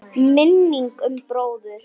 Minning um bróður.